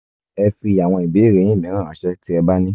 ẹ fi àwọn ìbéèrè yín mìíràn ránṣẹ́ tí ẹ bá ní